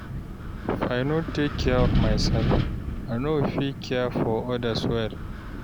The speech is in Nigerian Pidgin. If I no take care of myself, I no go fit care for others well.